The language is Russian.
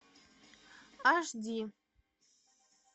аш ди